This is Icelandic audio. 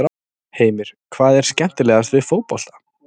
Heimir: Hvað er skemmilegast við fótbolta?